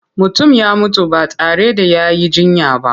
Mutum ya mutu ba tare da ya yi jinya ba.